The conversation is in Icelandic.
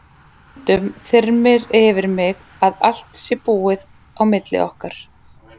Stundum þyrmir yfir mig að allt sé búið á milli okkar.